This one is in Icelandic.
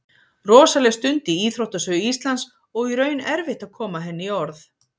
Rosaleg stund í íþróttasögu Íslands og í raun erfitt að koma henni í orð.